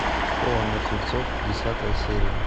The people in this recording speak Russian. школа мертвецов десятая серия